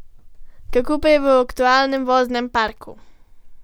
Kako pa je v aktualnem voznem parku?